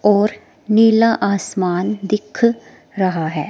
और नीला आसमान दिख रहा है।